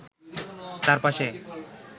তার পাশে